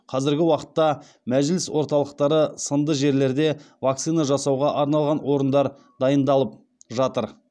қазіргі уақытта мәжіліс орталықтары сынды жерлерде вакцина жасауға арналған орындар дайындалып жатыр